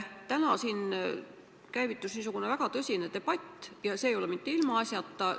Täna käivitus siin väga tõsine debatt, ja seda mitte ilmaasjata.